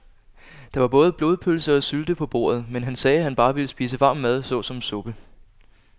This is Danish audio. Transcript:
Der var både blodpølse og sylte på bordet, men han sagde, at han bare ville spise varm mad såsom suppe.